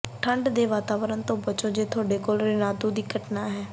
ਠੰਢ ਦੇ ਵਾਤਾਵਰਨ ਤੋਂ ਬਚੋ ਜੇ ਤੁਹਾਡੇ ਕੋਲ ਰੇਨਾਦੂ ਦੀ ਘਟਨਾ ਹੈ